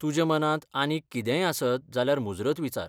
तुज्या मनांत आनीक कितेंय आसत जाल्यार मुजरत विचार.